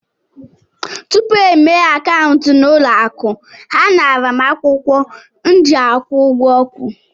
Tupu e mepee akaụntụ n'ụlọ akụ, ha naara m akwụkwọ m ji akwụ ụgwọ ọkụ.